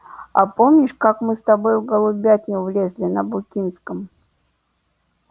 а помнишь как мы с тобой в голубятню влезли на букинском